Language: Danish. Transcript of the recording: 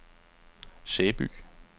Sæby